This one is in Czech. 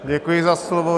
Děkuji za slovo.